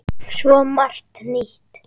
Svo margt nýtt.